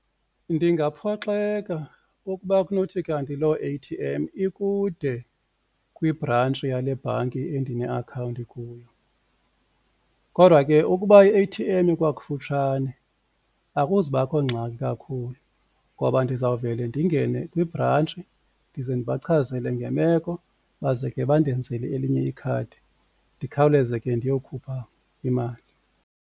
Ndingaphoxeka ukuba kunothi kanti loo A_T_M ikude kwibhrantshi yale bhanki endine akhawunti kuyo kodwa ke ukuba i-A_T_M ikwakufutshane akuzubakho ngxaki kakhulu ngoba ndizawuvele ndingene kwibhrantshi ndize ndibachazele ngemeko baze ke bandenzele elinye ikhadi ndikhawuleze ke ndiyokhupha imali.